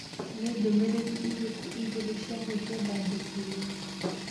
Nĩ ndũmĩrĩri irĩkũ igĩrĩ cia mũthia ndandĩkĩirũo?